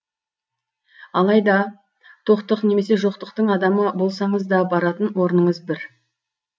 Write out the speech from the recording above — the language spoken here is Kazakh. алайда тоқтық немесе жоқтықтың адамы болсаңыз да баратын орныңыз бір